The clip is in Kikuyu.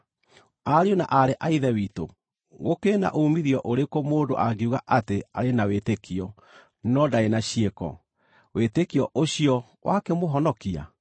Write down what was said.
Ariũ na aarĩ a Ithe witũ, gũkĩrĩ na uumithio ũrĩkũ mũndũ angiuga atĩ arĩ na wĩtĩkio, no ndarĩ na ciĩko? Wĩtĩkio ũcio wakĩmũhonokia?